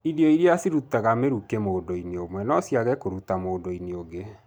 Irio iria cirutaga mĩrukĩ mũndũ-inĩ ũmwe no ciage kũruta mũndũ-inĩ ũngĩ.